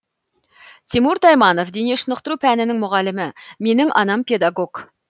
тимур тайманов дене шынықтыру пәнінің мұғалімі менің анам педагог